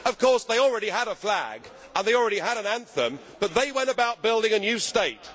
Of course, they already had a flag, and they already had an anthem, but they went about building a new state.